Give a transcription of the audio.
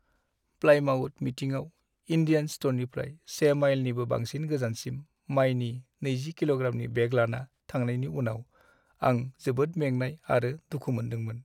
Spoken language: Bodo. प्लायमाउथ मिटिंआव इन्डियान स्ट'रनिफ्राय से माइलनि बांसिन गोजानसिम मायनि 20 किल'ग्रामनि बेग लाना थांनायनि उनाव आं जोबोद मेंनाय आरो दुखु मोन्दोंमोन।